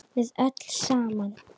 Við öll saman.